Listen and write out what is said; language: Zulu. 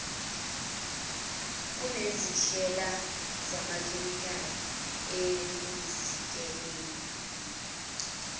kunezindlela zamachemikheli ekuzikeleni